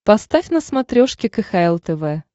поставь на смотрешке кхл тв